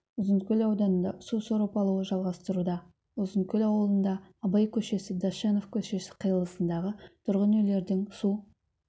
ұзынкөл ауданында су сорып алуы жалғастыруда ұзынкөл ауылында абай көшесі дощанов көшесі қиылысындағы тұрғын үйлердің су